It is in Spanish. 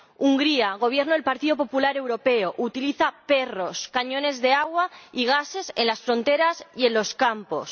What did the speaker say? Hungría —gobierna el Partido Popular— utiliza perros, cañones de agua y gases en las fronteras y en los campos.